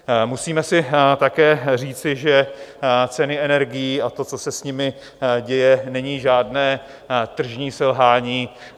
Musíme si také říci, že ceny energií a to, co se s nimi děje, není žádné tržní selhání.